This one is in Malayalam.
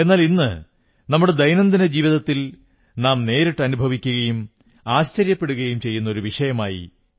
എന്നാലിന്ന് നമ്മുടെ ദൈനംദിന ജീവിതത്തിൽ നാം നേരിട്ടനുഭവിക്കുകയും ആശ്ചര്യപ്പെടുകയും ചെയ്യുന്ന വിഷയമായി